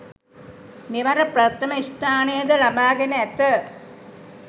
මෙවර ප්‍රථම ස්‌ථානය ද ලබාගෙන ඇත.